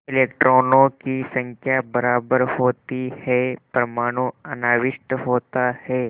इलेक्ट्रॉनों की संख्या बराबर होती है परमाणु अनाविष्ट होता है